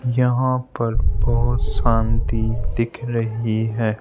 यहां पर बहुत शांति दिख रही है।